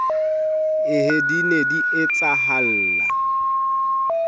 ee di ne di etsahalla